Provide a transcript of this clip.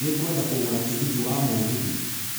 Nĩ ngwenda kũgũra tigiti wa mũgithi